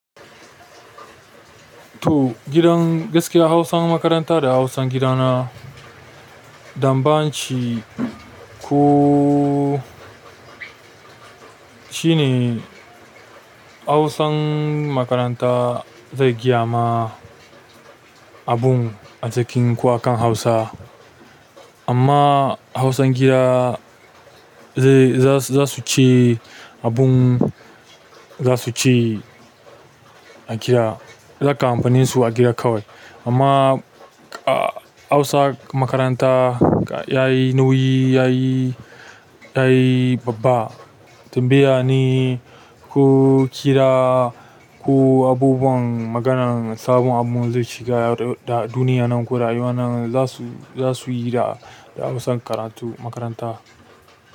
To gidan gaskiya Hausan makaranta da Hausan gidana daban shi ko shine Hausan makaranta zai gaya ma abun a cikin kwakan Hausa amma Hausan gida zai za su ci abun za su ci a gida. Za kamfaninsu a gida kawai amma a Hausa makaranta yayi nauyi yayi yayi babba. Tambaya ne ko kira ko abubuwan maganan sabon abun zai shiga da duniya nan ko rayuwa nan za su za su yi da Hausan karatu makaranta.